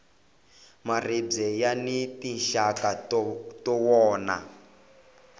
maribye yani tinxaka ta wona